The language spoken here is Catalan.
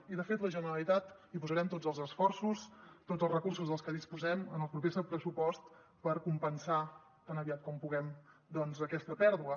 i de fet la generalitat hi posarem tots els esforços tots els recursos dels que disposem en el proper pressupost per compensar tan aviat com puguem doncs aquesta pèrdua